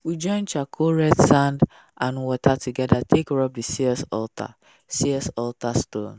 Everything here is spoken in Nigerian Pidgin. we join charcoal red sand and water together take rub the altar altar stone.